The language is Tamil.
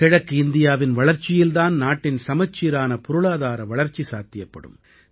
கிழக்கு இந்தியாவின் வளர்ச்சியில் தான் நாட்டின் சமச்சீரான பொருளாதார வளர்ச்சி சாத்தியப்படும்